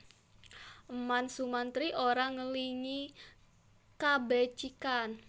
Eman Sumantri ora ngelingi kabecikan